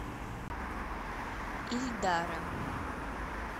ильдара